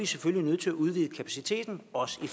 selvfølgelig nødt til at udvide kapaciteten også i